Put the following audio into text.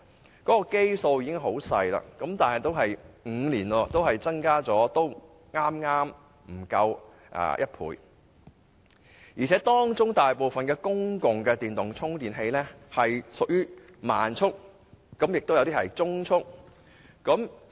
有關的基數已極小，而5年間的增幅亦剛剛不足1倍，當中大部分公共充電器更屬於慢速，有些則屬中速。